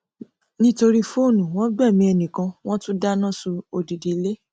nítorí fóònù wọn gbẹmí ẹnì kan wọn tún dáná sun odidi ilé